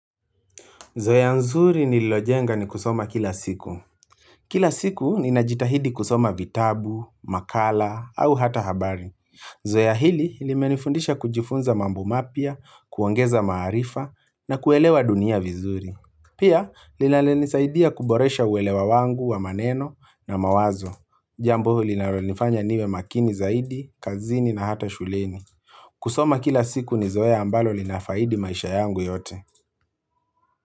Zoya nzuri nililojenga ni kusoma kila siku. Kila siku ni najitahidi kusoma vitabu, makala, au hata habari. Zoya hili limenifundisha kujifunza mambu mapya, kuongeza maarifa, na kuelewa dunia vizuri. Pia, linanisaidia kuboresha uwelewa wangu, wamaneno, na mawazo. Jambo linalonifanya niwe makini zaidi, kazini, na hata shuleni. Kusoma kila siku ni zoya ambalo linafaidi maisha yangu yote.